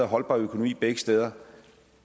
holdbar økonomi begge steder